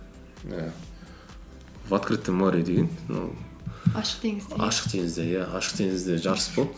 і в открытом море деген ашық теңізде ашық теңізде иә ашық теңізде жарыс болды